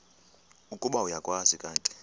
ukuba uyakwazi kanti